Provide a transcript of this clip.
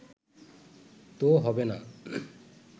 তো হবে না